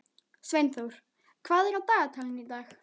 Sveinþór, hvað er á dagatalinu í dag?